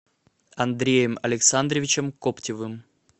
андреем александровичем коптевым